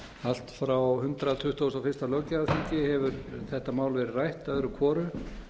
allt frá hundrað tuttugasta og fyrsta löggjafarþingi hefur þetta mál verið rætt öðru hvoru